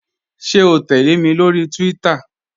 Ṣẹ̀ o tẹlẹ̀ mi lórí Twitter?